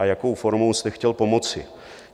a jakou formou jste chtěl pomoci.